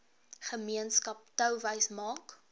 gemeenskap touwys maak